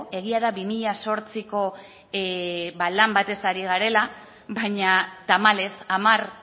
egia da bi mila zortziko lan batez ari garela baina tamalez hamar